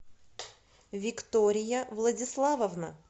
виктория владиславовна